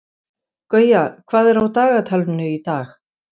Gauja, hvað er á dagatalinu í dag?